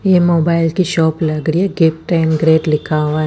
यह मोबाइल कि शॉप लग रही है गिफ्ट टाइम ग्रेट लिखा हुआ है।